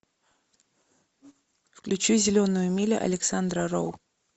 включи зеленая миля александра роу